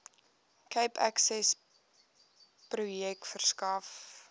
cape accessprojek verskaf